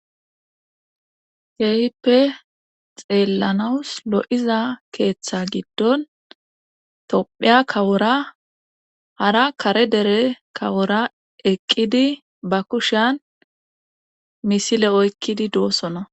Keehippe xeellanawus lo7iza keeththa giddon tophiya kawora hara kare dere kawora eqqidi ba kushiyan misile oykkidi doosona